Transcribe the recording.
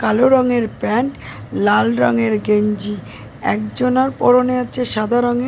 কালো রঙের প্যান্ট লাল রঙের গেঞ্জি একজনার পড়নে আছে সাদা রঙের --